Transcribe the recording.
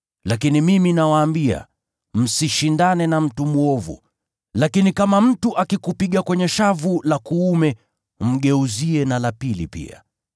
Lakini mimi nawaambia, msishindane na mtu mwovu. Lakini kama mtu akikupiga kwenye shavu la kuume, mgeuzie na la pili pia.